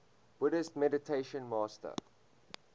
buddhist meditation master